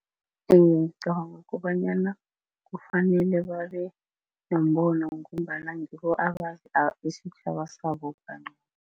ngicabanga kobanyana kufanele babe nombono ngombana ngibo isitjhaba sabo